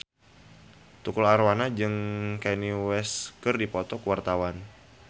Tukul Arwana jeung Kanye West keur dipoto ku wartawan